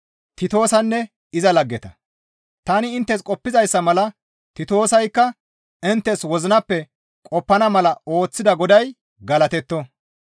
Tani inttes qoppizayssa mala Titoosaykka inttes wozinappe qoppana mala ooththida Goday galatetto.